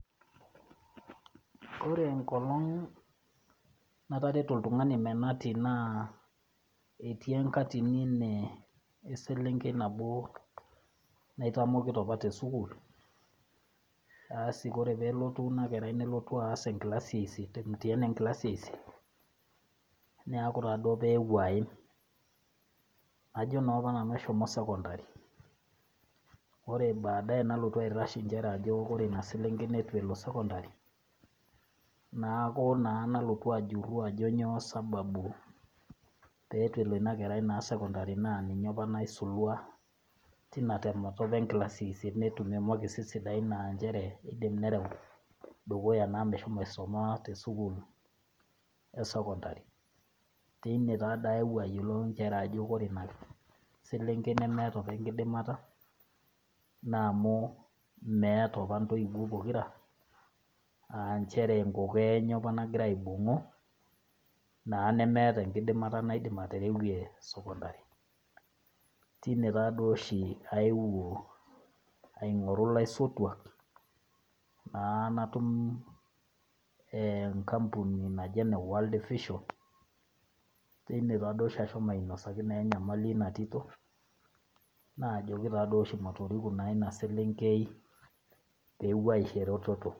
Ore enkolong natareto oltungani menati naa etii enakatini nee eselenkei nabo naitamokito apa tesukuul , asi ore peelotu ina kerai nelotu aas enkilasi eisiet emtiani enkilasi eisiet , neeku duo apa ewuo aim , najo naa apa nanu eshomo secondary , ore baaaye nalotu airash nchere ore ina selenkei nitu elo sekondary ,naaku naa nalotu ajuru ajo nyoo sababu peitu elo ina kerai naa secondary naa ninye apa naisulua tina temata apa enkilasi esiet, netumi imakisi sidain naa nchere kidim nereu dukuya enaa meshomo aisuma tesukuul esecondary. Teine taa ayieu ayiolou nchere ore ina selenkei nemeeta apa enkidimata naa amu meeta apa ntoiwuo pokira aanchere kokoo enye apa nagira aidimu naa nemeeta enkidimata naidim aterewie secondary , teine taaduo oshi aeu aingoru ilaisotuak naa natum e enkampuni naji eneworld vision , teine naa duoshi ashomo ainosaki enyamali inatito , naajoki naaduoshi matoriku inaselenkei peepuo aisho ereteto.